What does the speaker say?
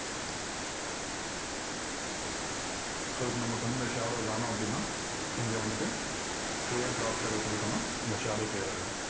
so இப்போ நமக்கு இந்த shadow வேணாம் அப்படின்னா இங்க வந்துட்டு clear drop shadow கொடுத்துட்டோன்னா அந்த shadow clear ஆயிடும்.